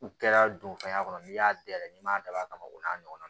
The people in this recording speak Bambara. U kɛra don fɛn kɔnɔ n'i y'a dayɛlɛ n'i m'a dabɔ a kama o n'a ɲɔgɔnna